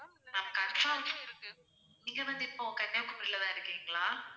ma'am confirm நீங்க வந்து இப்போ கன்னியாகுமரில தான் இருக்கீங்களா?